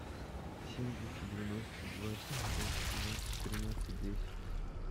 семь двести девяносто два пятьсот семнадцать тринадцать десять